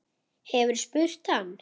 Hefurðu spurt hann?